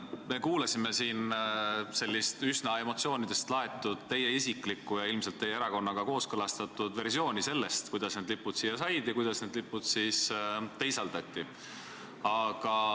Me kuulasime siin üsna emotsioonidest laetud teie isiklikku ja ilmselt teie erakonnaga kooskõlastatud versiooni sellest, kuidas need lipud Valgesse saali said ja kuidas need siis teisaldati.